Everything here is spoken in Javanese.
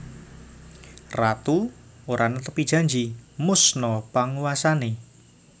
Ratu ora netepi janji musna panguwasane